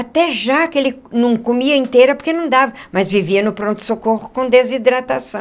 Até jaca ele não comia inteira porque não dava, mas vivia no pronto-socorro com desidratação.